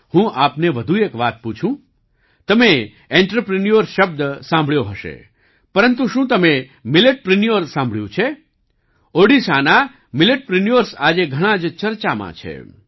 હું આપને વધુ એક વાત પૂછું તમે આંત્રપ્રિન્યોર શબ્દ સાંભળ્યો હશે પરંતુ શું તમે મિલેટપ્રિન્યોર્સ સાંભળ્યું છે ઓડિશાના મિલેટપ્રિન્યોર્સ આજે ઘણાં જ ચર્ચામાં છે